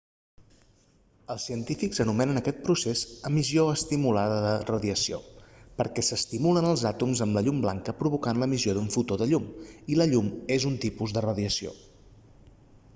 els científics anomenen aquest procés emissió estimulada de radiació perquè s'estimulen els àtoms amb la llum blanca provocant l'emissió d'un fotó de llum i la llum és un tipus de radiació